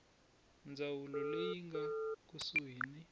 ndzawulo leyi nga kusuhani na